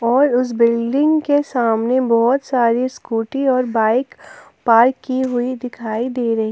और उस बिल्डिंग के सामने बहोत सारी स्कूटी और बाइक पार्क की हुई दिखाई दे रही--